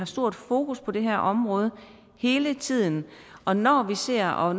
stort fokus på det her område hele tiden og når vi ser og